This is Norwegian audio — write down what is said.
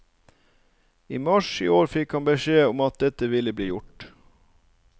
I mars i år fikk han beskjed om at dette ville bli gjort.